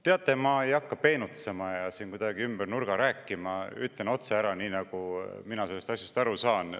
Teate, ma ei hakka peenutsema ja kuidagi ümber nurga rääkima, ütlen otse ära, nii nagu mina sellest asjast aru saan.